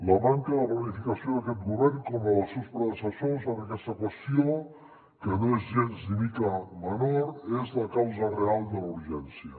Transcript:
la manca de planificació d’aquest govern com la dels seus predecessors en aquesta qüestió que no és gens ni mica menor és la causa real de la urgència